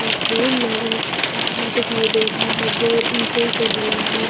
तस्वीर में एक प घर दिखाई दे रहा है जो ईंटों से बना है।